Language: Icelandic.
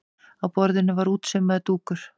Á borðinu var útsaumaður dúkur.